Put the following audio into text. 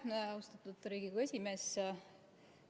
Aitäh, austatud Riigikogu esimees!